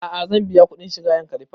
A'a zan biya kuɗin shiga yankari park